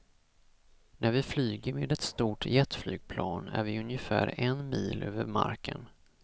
När vi flyger med ett stort jetflygplan är vi ungefär en mil över marken.